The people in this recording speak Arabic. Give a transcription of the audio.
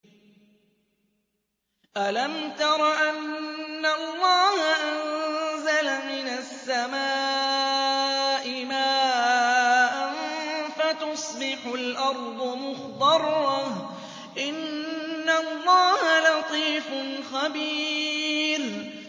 أَلَمْ تَرَ أَنَّ اللَّهَ أَنزَلَ مِنَ السَّمَاءِ مَاءً فَتُصْبِحُ الْأَرْضُ مُخْضَرَّةً ۗ إِنَّ اللَّهَ لَطِيفٌ خَبِيرٌ